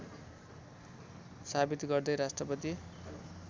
साबित गर्दै राष्ट्रपति